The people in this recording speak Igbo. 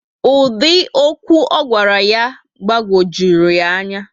Ụdị okwu ogwara ya gbagwojurum ya ányá